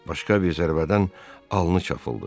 Başqa bir zərbədən alını çapıldı.